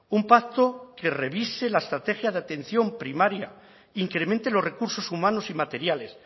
un pacto que revise la estrategia de atención primaria incremente los recursos humanos y materiales